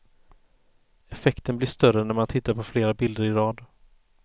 Effekten blir större när man tittar på fler bilder i rad.